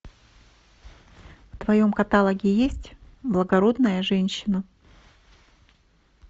в твоем каталоге есть благородная женщина